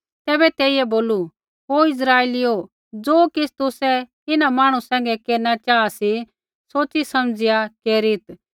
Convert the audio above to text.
तैबै तेइयै बोलू हे इस्राइलीओ ज़ो किछ़ तुसै इन्हां मांहणु सैंघै केरना चाहा सी सोच़ीसमझ़िआ केरीत्